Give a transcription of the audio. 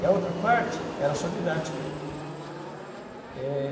E a outra parte era só didática. É...